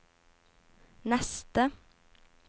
neste